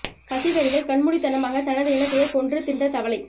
பசி வெறியில் கண் மூடித்தனமாக தனது இனத்தையே கொன்று தின்ற தவளை